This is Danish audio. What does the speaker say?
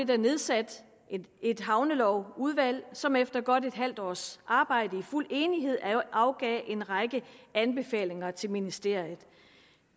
der nedsat et havnelovudvalg som efter godt et halvt års arbejde i fuld enighed afgav en række anbefalinger til ministeriet